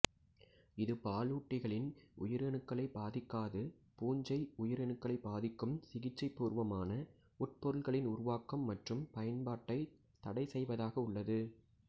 இது பாலூட்டிகளின் உயிரணுக்களைப் பாதிக்காது பூஞ்சை உயிரணுக்களை பாதிக்கும் சிகிச்சைப்பூர்வமான உட்பொருட்களின் உருவாக்கம் மற்றும் பயன்பாட்டைத் தடைசெய்வதாக உள்ளது